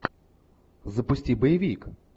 запусти боевик